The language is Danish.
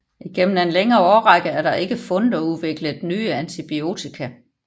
Igennem en længere årrække er der ikke fundet og udviklet nye antibiotika